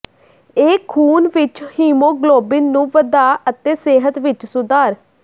ਇਹ ਖੂਨ ਵਿੱਚ ਹੀਮੋਗਲੋਬਿਨ ਨੂੰ ਵਧਾ ਅਤੇ ਸਿਹਤ ਵਿੱਚ ਸੁਧਾਰ